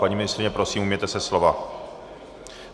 Paní ministryně, prosím, ujměte se slova.